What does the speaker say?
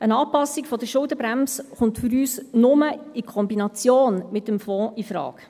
Eine Anpassung der Schuldenbremse kommt für uns nur in Kombination mit dem Fonds infrage.